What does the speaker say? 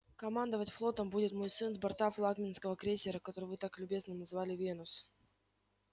командовать флотом будет мой сын с борта флагманского крейсера который вы так любезно назвали венус